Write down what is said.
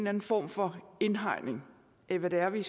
anden form for indhegning af hvad det er vi